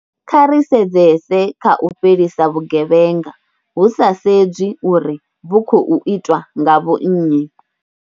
Kha ri sedzese kha u fhelisa vhugevhenga, hu sa sedzwi uri vhu khou itwa nga vhonnyi.